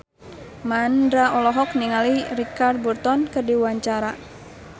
Mandra olohok ningali Richard Burton keur diwawancara